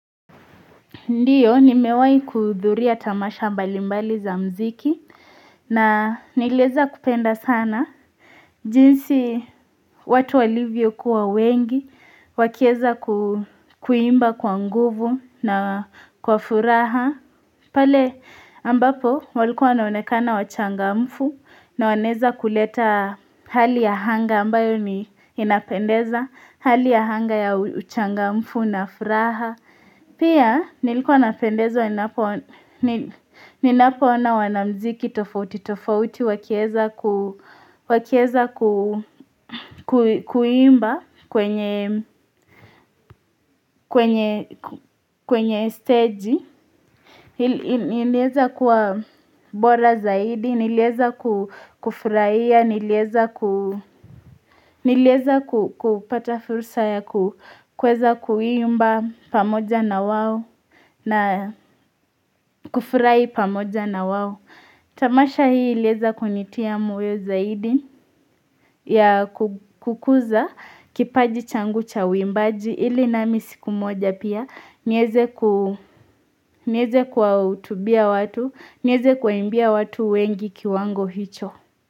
Ndiyo, ni mewai kudhuria tamasha mbali mbali za mziki na inileza kupenda sana. Jinsi watu walivyokuwa wengi, wakieza kuimba kwa nguvu na kwa furaha. Pale ambapo walikuwa naonekana wachangamvu na waneza kuleta hali ya hanga ambayo ni inapendeza, hali ya hanga ya uchanga mfu na furaha. Pia nilikuwa napendezwa, ninapoona wanamziki tofauti, tofauti, wakieza kuimba kwenye stage, nilieza kwa bora zaidi, nilieza kufuraiya, nilieza kupata fursa ya kueza kuimba pamoja na wawo na kufurai pamoja na wao tamasha hii ilieza kunitia moyo zaidi ya kukuza kipaji changu cha wimbaji ili na misiku moja pia nyeze ku nieze kuautubia watu nyeze kuimbia watu wengi kiwango hicho.